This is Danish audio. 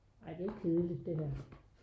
Ej det kedeligt det her